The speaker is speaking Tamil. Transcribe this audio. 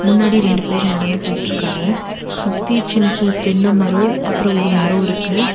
முன்னாடி ரெண்டு பேர் நடந்து போயிட்ருக்காங்க. சுத்தி சின்ன சின்ன தென்ன மரோ அப்றோ ஒரு மரோ இருக்கு.